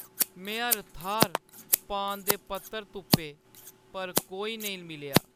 में हर थाह्‌र पान दे पत्तर तुप्पे पर कोई नेईं मिलेआ।